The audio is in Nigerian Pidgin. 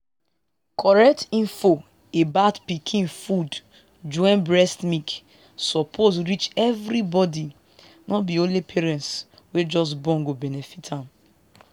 correct info about pikin food join breast milk suppose reach everybody no be only parents wey just born go benefit am.